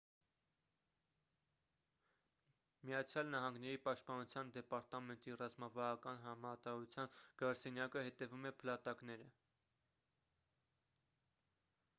միացյան նահանգների պաշտպանության դեպարտամենտի ռազմավարական հրամանատարության գրասենյակը հետևում է փլատակները